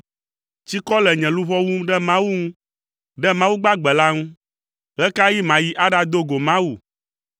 Tsikɔ le nye luʋɔ wum ɖe Mawu ŋu, ɖe Mawu gbagbe la ŋu. Ɣe ka ɣi mayi aɖado go Mawu?